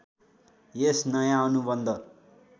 यस नयाँ अनुबन्ध